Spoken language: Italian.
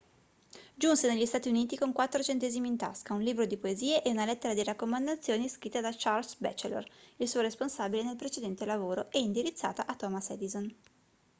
giunse negli stati uniti con 4 centesimi in tasca un libro di poesie e una lettera di raccomandazioni scritta da charles batchelor il suo responsabile nel precedente lavoro e indirizzata a thomas edison